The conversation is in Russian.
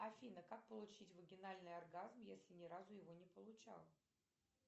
афина как получить вагинальный оргазм если ни разу его не получал